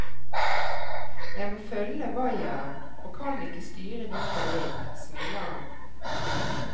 Jeg må følge vaieren og kan ikke styre dit jeg vil, smiler han.